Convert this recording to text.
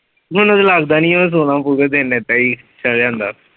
ਮੈਨੂੰ ਤੇ ਲੱਗਦਾ ਨੀ ਆ ਸੋਹਣਾ ਹੋਊਗਾ ਤੇ ਇੰਨੇ ਤੇ ਹੀ ਚੜ ਜਾਂਦਾ।